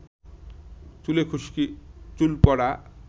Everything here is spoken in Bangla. চুলে খুশকি, চুল পড়া,